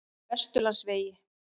Vesturlandsvegi